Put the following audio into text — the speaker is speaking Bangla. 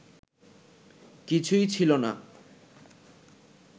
কিছুই ছিল না